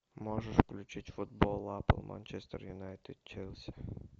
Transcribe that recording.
можешь включить футбол апл манчестер юнайтед челси